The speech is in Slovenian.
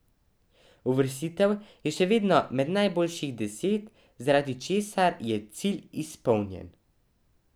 Uvrstitev je še vedno med najboljših deset, zaradi česar je cilj izpolnjen.